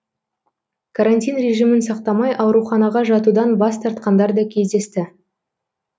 карантин режимін сақтамай ауруханаға жатудан бас тартқандар да кездесті